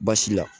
Baasi la